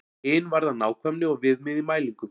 Hin varðar nákvæmni og viðmið í mælingum.